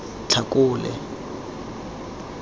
tlhakole